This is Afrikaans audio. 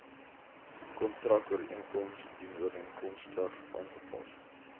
kontrakooreenkoms dienooreenkomstig aangepas